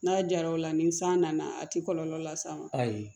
N'a jara o la ni san nana a ti kɔlɔlɔ las'a ma ayi